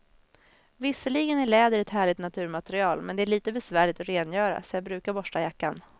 Visserligen är läder ett härligt naturmaterial, men det är lite besvärligt att rengöra, så jag brukar borsta jackan.